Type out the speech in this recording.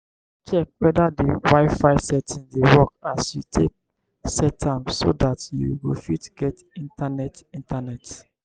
check weda di wifi settings dey work as you take set am so dat you go fit get internet internet